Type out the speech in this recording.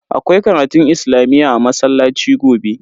Akwai karatun islamiyyah a masallaci gobe.